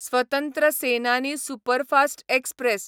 स्वतंत्र सेनानी superfast express